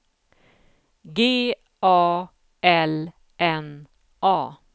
G A L N A